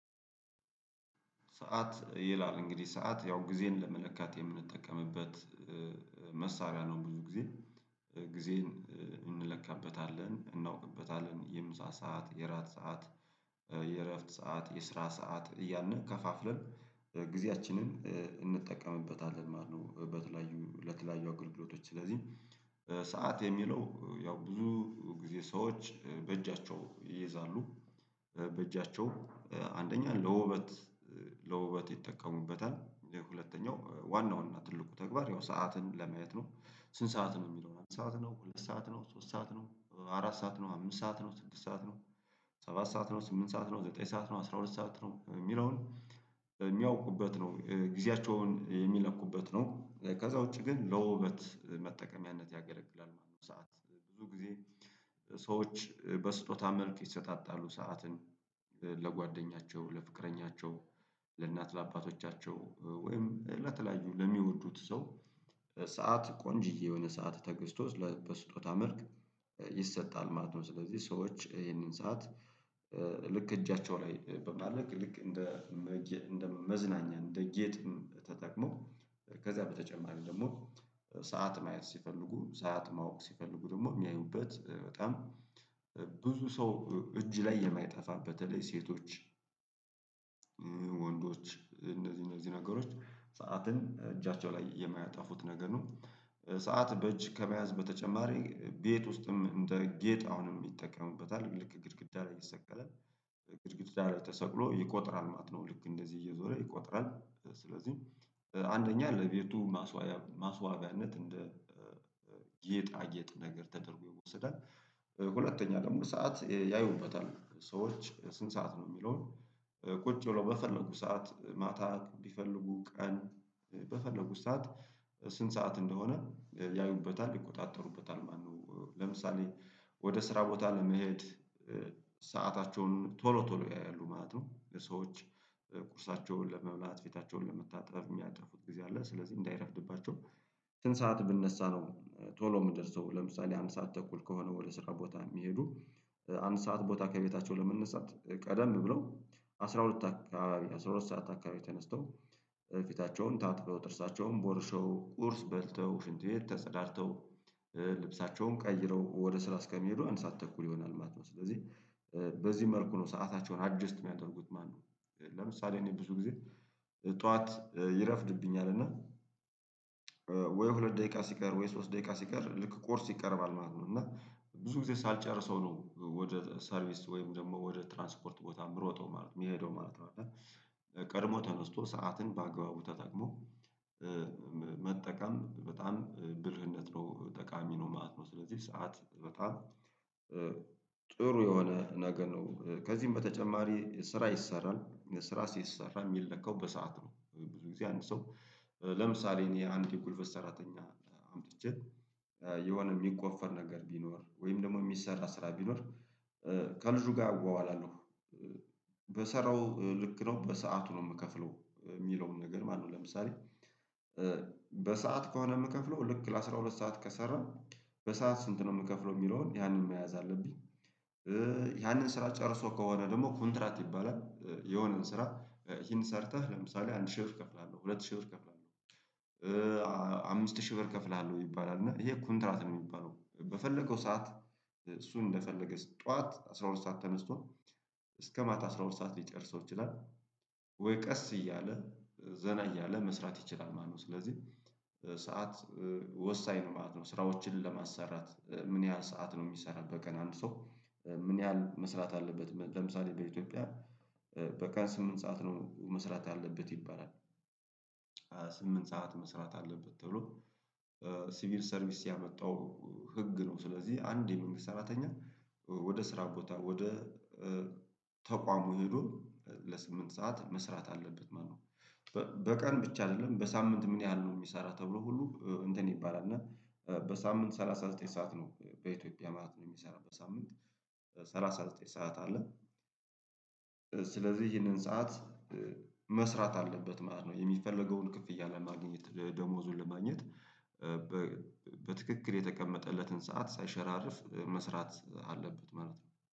ሰዓት ይላል እንግዲህ ሰዓት ያው ጊዜን ለመለካት የምንጠቀምበት መሳቢያ ነው ብዙ ጊዜ ጊዜን እንለካበታለን እናውቅበታለን የምሳ ሰዓት የራት ሰዓት የእረፍት ሰዓት የስራ ሰዓት እያልን ከፋፍለን ጊዜያችንን እንጠቀምበታለን ማለት ነው። በተለያዩ ለተለያዩ አገልግሎቶች ስለዚህ ሰዓት የሚለው ያው ብዙ ጊዜ ሰዎች በእጃቸው ይይዛሉ በእጃቸው አንደኛ ለውበት ለውበት ይጠቀሙበታል ሁለተኛው ዋናውን እና ትልቁ ተግባር ያው ሰዓትን ለማየት ነው። ስንት ሰዓት ነው የሚለው ሰዓት ነው ሁለት ሰዓት ነው ሶስት ሰዓት ነው አራት ሰዓት ነው አምስት ሰዓት ነው ስድስት ሰዓት ነው። ሰባት ሰዓት ነው ስምንት ሰዓት ነው ዘጠኝ ሰዓት ነው አስራ ሁለት ሰዓት ነው የሚለውን የሚያውቁበት ነው። ጊዜያቸውን የሚለኩበት ነው ከዛ ውጪ ግን ለውበት መጠቀሚያነት ያገለግላል። ማነው ሰዓት ብዙ ጊዜ ሰዎች በስጦታ መልክ ይሰጣጣሉ ሰዓትን ለጓደኛቸው ለፍቅረኛቸው ለእናት ለአባቶቻቸው ወይም ለተለያዩ ለሚወዱት ሰው ሰዓት ቆንጅዬ የሆነ ሰዓት ተገዝቶ በስጦታ መልክ ይሰጣል ማለት ነው። ስለዚህ ሰዎች ይህንን ሰዓት እጃቸው ላይ በማድረግ ልክ እንደ መዝናኛ እንደ ጌጥም ተጠቅሞ ከዛ በተጨማሪ ደግሞ ሰዓት ማየት ሲፈልጉ ሰዓት ማወቅ ሲፈልጉ ደግሞ የሚያዩበት በጣም ብዙ ሰው እጅ ላይ የማይጠፋ በተለይ ሴቶች ወንዶች እነዚህ እነዚህ ነገሮች ሰዓትን እጃቸው ላይ የማያጠፉት ነገር ነው። ሰዓት በእጅ ከመያዝ በተጨማሪ ቤት ውስጥም እንደ ጌጥ አሁንም ይጠቀሙበታል ልክ ግድግዳ ላይ ይሰቀላል ግድግዳ ላይ ተሰቅሎ ይቆጥራል ማት ነው ልክ እንደዚህ እየዞረ ይቆጥራል። ስለዚህ አንደኛ ለቤቱ ማስዋጋነት እንደ ጌጣጌጥ ነገር ተደርጎ ይወሰዳል። ሁለተኛ ደግሞ ሰዓት ያዩበታል ሰዎች ስንት ሰዓት ነው የሚለውን ቁጭ ብለው በፈለጉ ሰዓት ማታ ቢፈልጉ ቀን በፈለጉት ሰዓት ስንት ሰዓት እንደሆነ ያዩበታል ይቆጣጠሩበታል ማነው ለምሳሌ ወደ ስራ ቦታ ለመሄድ ሰአታቸውን ቶሎ ቶሎ ያያሉ ማለት ነው። ሰዎች ቁርሳቸውን ለመብላት ፊታቸውን ለመታጠብ የሚያጠፉት ጊዜ አለ ስለዚህ እንዳይረፍድባቸው ስንት ሰዓት ብነሳ ነው? ቶሎ የምደርሰው ለምሳሌ አንድ ሰዓት ተኩል ከሆነ ወደ ስራ ቦታ የሚሄዱ አንድ ሰዓት ቦታ ከቤታቸው ለመነሳት ቀደም ብሎ አስራ ሁለት አካባቢ አስራ ሁለት ሰዓት አካባቢ ተነስተው ፊታቸውን ታጥበው ጥርሳቸውን ቦርሸው ቁርስ በልተው ሽንት ቤት ተጸዳድተው ልብሳቸውን ቀይረው ወደ ስራ እስከሚሄዱ አእንድ ሰዓት ተኩል ይሆናል ማለት ነው። ስለዚህ በዚህ መልኩ ነው ሰአታቸውን አጀስት የሚያደርጉት ማለት ነው። ለምሳሌ እኔ ብዙ ጊዜ ጠዋት ይረፍድብኛል እና ወይ ሁለት ደቂቃ ሲቀር ወይ ሶስት ደቂቃ ሲቀር ልክ ቁርስ ይቀርባል ማለት ነው። እና ብዙ ጊዜ ሳልጨርሰው ነው ወደ ሰርቪስ ወይም ደግሞ ወደ ትራንስፖርት ቦታ ምሮጠው ማለት የምሄደው ማለት ነው። እና ቀድሞ ተነስቶ ሰዓትን በአግባቡ ተጠቅሞ መጠቀም በጣም ብልህነት ነው ጠቃሚ ነው ማት ነው። ስለዚህ ሰዓት በጣም ጥሩ የሆነ ነገር ነው። ከዚህም በተጨማሪ ስራ ይሰራል ስራ ሲሰራ የሚለካው በሰአት ነው። ብዙ ጊዜ አንድ ሰው ለምሳሌ እኔ አንዲት የጉልበት ሰራተኛ አምጥቼ የሆነ የሚቆፈር ነገር ቢኖር ወይም ደግሞ የሚሰራ ስራ ቢኖር ከልጁ ጋር አዋዋላለሁ በሰራው ልክ ነው በሰአቱ ነው። የምከፍለው የሚለውን ነገር ማነው ለምሳሌ በሰአት ከሆነ የምከፍለው ልክ ለአሥራ ሁለት ሰዓት ከሰራን በሰአት ስንት ነው የምከፍለው የሚለውን ያንን መያዝ አለብኝ? ያንን ስራ ጨርሶ ከሆነ ደግሞ ኮንትራት ይባላል የሆነን ስራ ይሄን ሰርተህ ለምሳሌ አንድ ሺህ ወር እከፍላለሁ ሁለት ሺህ ወር እከፍላለሁ አምስት ሺህ ብር እከፍለሃለሁ ይባላል እና ይሄ ኩንትራት ነው። የሚባለው በፈለገው ሰዓት እሱ እንደፈለገ ጠዋት አስራ ሁለት ሰዓት ተነስቶ እስከ ማታ አስራ ሁለት ሰዓት ሊጨርሰው ይችላል ወይ ቀስ እያለ ዘና እያለ መስራት ይችላል ማለት ነው። ስለዚህ ሰዓት ወሳኝ ነው ማለት ነው። ስራዎችን ለማሰራት ምን ያህል ሰዓት ነው የሚሰራው በቀን አንድ ሰው ምን ያህል መስራት አለበት ለምሳሌ በኢትዮጵያ በቀን ስምንት ሰዓት ነው መስራት ያለበት ይባላል። ስምንት ሰዓት መስራት አለበት ተብሎ ሲቪል ሰርቪስ ያመጣው ህግ ነው ስለዚህ አንድ የመንግስት ሰራተኛ ወደ ስራ ቦታ ወደ ተቋሙ ሄዶ ለስምንት ሰዓት መስራት አለበት ማለት ነው። በቀን ብቻ አይደለም በሳምንት ምን ያህል ነው የሚሰራው ተብሎ ሁሉ እንትን ይባላል እና በሳምንት ሰላሳ ዘጠኝ ሰዓት ነው በኢትዮጵያ ማለት ነው የሚሰራው በሳምንት ሰላሳ ዘጠኝ ሰዓት አለ። ስለዚህ ይሄንን ሰዓት መስራት አለበት ማለት ነው የሚፈለገውን ክፍያ ለማግኘት ደሞዙን ለማግኘት በትክክል የተቀመጠለትን ሰዓት ሳይሸራርፍ መስራት አለበት ማለት ነው